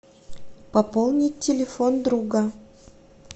пополнить телефон друга